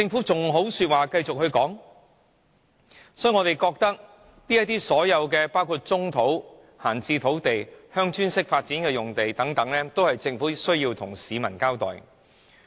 所以，我們認為政府對其所有土地，包括棕地、閒置土地、鄉村式發展等用地，均須向市民交代。